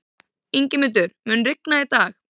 Ingimundur, mun rigna í dag?